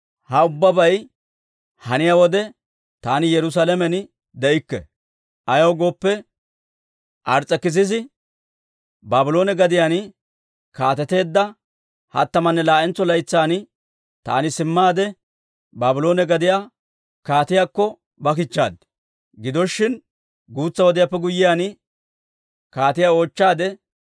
Ha ubbabay haniyaa wode taani Yerusaalamen de'ikke. Ayaw gooppe, Ars's'ekisisi Baabloone gadiyaan kaateteedda hattamanne laa'entso laytsan taani simmaade Baabloone gadiyaa kaatiyaakko ba kichchaad. Gido shin, guutsa wodiyaappe guyyiyaan, kaatiyaa oochchaade,